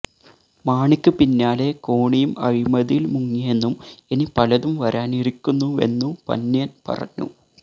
മാണിക്ക് പിന്നാലെ കോണിയും അഴിമതിയില് മുങ്ങിയെന്നും ഇനി പലതും വരാനിരിക്കുന്നുവെന്നു പന്ന്യന് പറഞ്ഞു